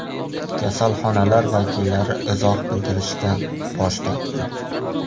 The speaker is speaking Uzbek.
Kasalxonalar vakillari izoh bildirishdan bosh tortgan.